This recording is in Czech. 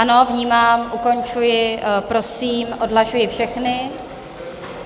Ano, vnímám, ukončuji, prosím, odhlašuji všechny.